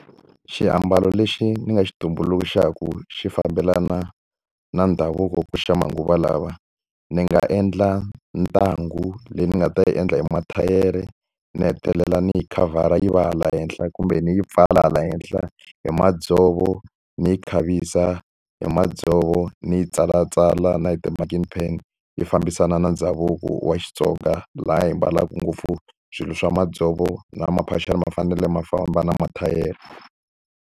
Xiambalo lexi ni nga xi tumbuluxaka xi fambelana na ndhavuko ku ri xa manguva lawa, ni nga endla ntangu leyi ni nga ta yi endla hi mathayere, ni hetelela ni hi khavhara yi va hala henhla kumbe ni yi pfala hala henhla hi madzovo. Ni yi khavisa hi madzovo, ni yi tsalatsala na hi ti-marking pen, yi fambisana na ndhavuko wa Xitsonga laha hi ambalaka ngopfu swilo swa madzovo na maphaxani ma fanele ma famba na mathayere.